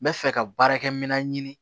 N bɛ fɛ ka baarakɛminɛn ɲini